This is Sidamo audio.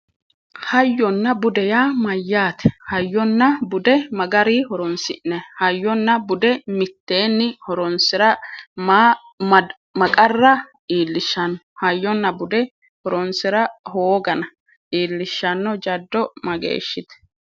Hayyonna bude yaa mayyaate hayyonna bude mayi garii horonsi'nayi hayyonna bude mitteenni horonsira mayi qarra iillishshanno hayyonna bude hooda iillishshanno jaddo mageeshshite